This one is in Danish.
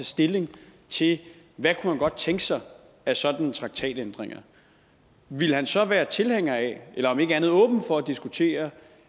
stilling til hvad han godt kunne tænke sig af sådanne traktatændringer ville han så være tilhænger af eller om ikke andet åben for at diskutere